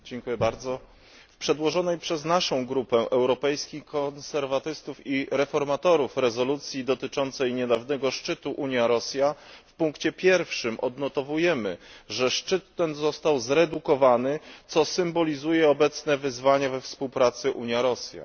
Pani Przewodnicząca! W przedłożonej przez naszą Grupę Europejskich Konserwatystów i Reformatorów rezolucji dotyczącej niedawnego szczytu Unia Rosja w punkcie 1. odnotowujemy, że szczyt ten został zredukowany, co symbolizuje obecne wyzwanie we współpracy Unia Rosja.